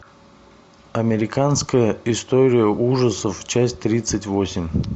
американская история ужасов часть тридцать восемь